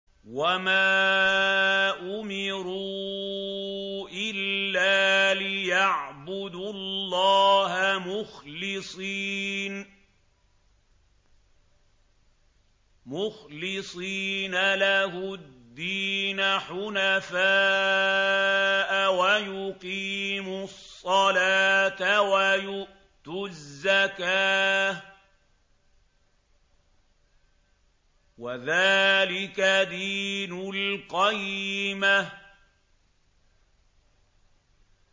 وَمَا أُمِرُوا إِلَّا لِيَعْبُدُوا اللَّهَ مُخْلِصِينَ لَهُ الدِّينَ حُنَفَاءَ وَيُقِيمُوا الصَّلَاةَ وَيُؤْتُوا الزَّكَاةَ ۚ وَذَٰلِكَ دِينُ الْقَيِّمَةِ